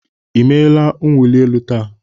I meela mwụli elu taa?